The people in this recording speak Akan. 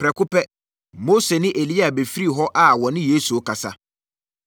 Prɛko pɛ, Mose ne Elia bɛfirii hɔ a wɔne Yesu rekasa.